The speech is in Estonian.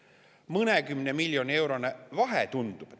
Tundub mõnekümne miljoni eurone vahe.